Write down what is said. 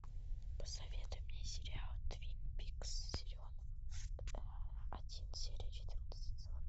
посоветуй мне сериал твин пикс сезон один серия четырнадцать